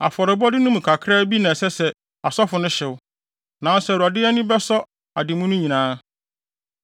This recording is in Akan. Afɔrebɔde no mu kakraa bi na ɛsɛ sɛ asɔfo no hyew, nanso Awurade ani bɛsɔ ade mu no nyinaa.